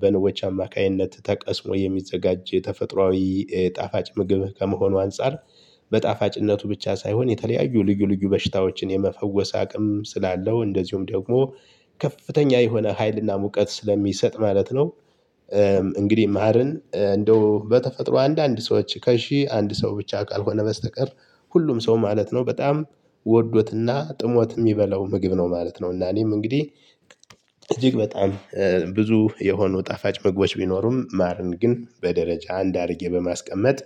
በንቦቻ አማካኝነት ተቀስሞ የሚዘጋጅ የተፈጥሮአዊ ጣፋጭ ምግብ ከመሆኑ አንፃር። በጣፋጭነቱ ብቻ ሳይሆን የተለያዩ ልዩ ልዩ በሽታዎችን የመፈወስ አቅም ስላለው እንደዚሁም ደግሞ ከፍተኛ የሆነ ሀይልና ሙቀት ስለሚሰጥ ማለት ነው። እንግዲህ ማርን እንደው በተፈጥሮ አንድ አንድ ሰዎች ከሺህ አንድ ሰው ብቻ ካልሆነ በስተቀር ሁሉም ሰው ማለት ነው በጣም ወዶትና ጥሞት የሚበላው ምግብ ነው ማለት ነው። እና እኔም እንግዲህ እጅግ በጣም ብዙ የሆኑ ጣፋጭ ምግቦች ቢኖሩም ማርን ግን በደረጃ አንድ አድርጌ በማስቀመጥ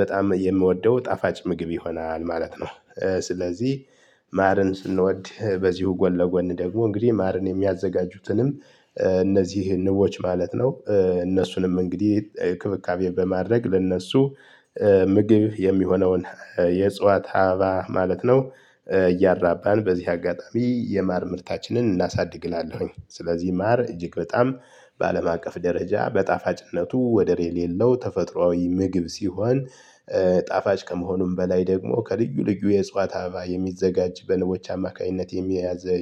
በጣም የምወደው ጣፋጭ ምግብ ይሆናል ማለት ነው። ስለዚህ ማርን ስንወድ በዚሁ ጎን ለጎን ደግሞ እንግዲህ ማርን የሚያዘጋጁትንም እነዚህ ንቦች ማለት ነው። እነሱንም እንግዲህ እክብካቤ በማድረግ ለእነሱ ምግብ የሚሆነውን የእጽዋት አበባ ማለት ነው። እያራባን በዚህ አጋጣሚ የማር ምርታችንን እናሳድግ እላለሁኝ። ስለዚህ ማር እጅግ በጣም በአለም አቀፍ ደረጃ በጣፋጭነቱ ወደር የሌለው ተፈጥሮአዊ ምግብ ሲሆን። ጣፋጭ ከመሆኑም በላይ ደግሞ ከልዩ ልዩ የእጽዋት አበባ የሚዘጋጅ በንቦች አማካኝነት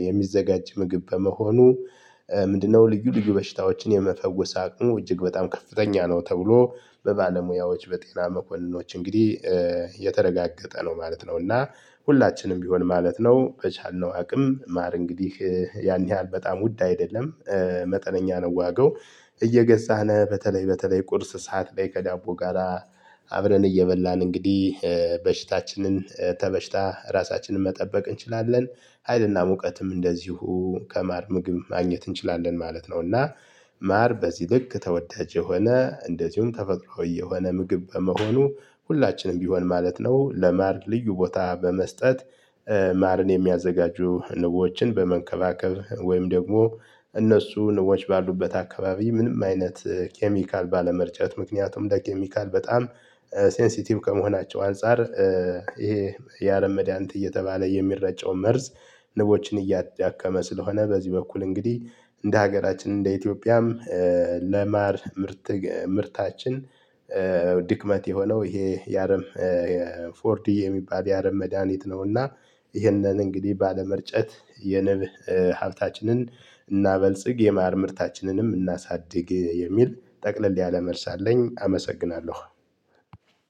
የሚዘጋጅ ምግብ በመሆኑ። ምንድነው ልዩ ልዩ በሽታዎችን የመፈወስ አቅሙ እጅግ በጣም ከፍተኛ ነው ተብሎ በባለሙያዎች በጤና መኮንኖች እንግዲህ የተረጋገጠ ነው ማለት ነው። እና ሁላችንም ቢሆን ማለት ነው በቻልነው አቅም ማር እንግዲህ ያን ያህል በጣም ውድ አይደለም። መጠነኛ ነው ዋጋው። እየገዛነ በተለይ በተለይ ቁርስ ሰዓት ላይ ከዳቦ ጋራ አብረን እየበላን እንግዲህ በሽታችንን ከበሽታ ራሳችንን መጠበቅ እንችላለን። ሀይልና ሙቀትም እንደዚሁ ከማር ምግብ ማግኘት እንችላለን ማለት ነው። እና ማር በዚህ ልክ ተወዳጅ የሆነ እንደዚሁም ተፈጥሮአዊ የሆነ ምግብ በመሆኑ ሁላችንም ቢሆን ማለት ነው። ለማር ልዩ ቦታ በመስጠት ማርን የሚያዘጋጁ ንቦችን በመንከባከብ ወይም ደግሞ እነሱ ንቦች ባሉበት አካባቢ ምንም አይነት ኬሚካል ባለመርጨት ምክንያቱም ቀኬሚካል በጣም ሴንሲቲቭ ከመሆናቸው አንፃር። ይሄ የአለም መድሃኒት እየተባለ የሚረጨው መርዝ ንቦችን እያዳከመ ስለሆነ በዚህ በኩል እንግዲህ እንደ ሀገራችን እንደ ኢትዮጵያም ለማር ምርት ምርታችን ድክመት የሆነው ይሄ የአረም የፎርዲ የሚባድ የአረም መድሃኒት ነውና። ይህንን እንግዲህ ባለመርጨት የንብ ሀብታችንን እናበልጽግ የማር ምርታችንንም እናሳድግ የሚል ጠቅለል ያለ መልስ አለኝ። አመሰግናለሁ።